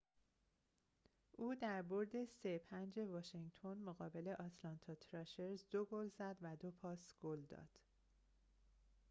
او در برد ۵-۳ واشینگتن مقابل آتلانتا تراشرز ۲ گل زد و ۲ پاس گل داد